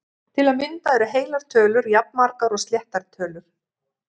Til að mynda eru heilar tölur jafnmargar og sléttar tölur!